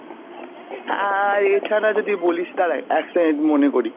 আর এছাড়া যদি বলিস দারা এক second মনে করি।